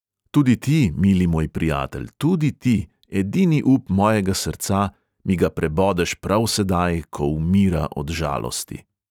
Tudi ti, mili moj prijatelj, tudi ti, edini up mojega srca, mi ga prebodeš prav sedaj, ko umira od žalosti!